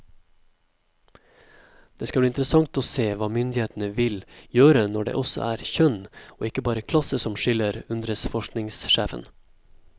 Det skal bli interessant å se hva myndighetene vil gjøre når det også er kjønn og ikke bare klasse som skiller, undres forskningssjefen.